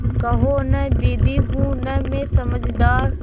कहो न दीदी हूँ न मैं समझदार